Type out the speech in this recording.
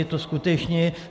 Je to skutečně...